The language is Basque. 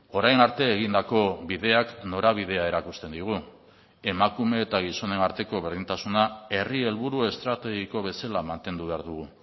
orain arte egindako bideak norabidea erakusten digu emakume eta gizonen arteko berdintasuna herri helburu estrategiko bezala mantendu behar dugu